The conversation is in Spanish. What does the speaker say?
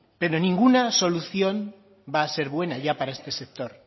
pero ninguna solución va a ser buena ya para este sector